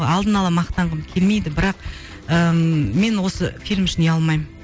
алдын ала мақтанғым келмейді бірақ ыыы мен осы фильм үшін ұялмаймын